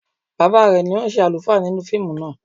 Bàbá rẹ̀ ni ó ṣe àlùfáà nínú fíìmù náà